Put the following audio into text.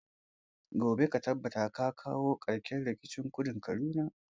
Gobe ka tabbata ka kawi karshen rikicin kudun kaduna!